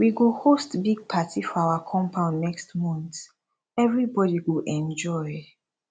we go host big party for our compound next month everybodi go enjoy